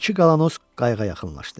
İki qalanoz qayığa yaxınlaşdı.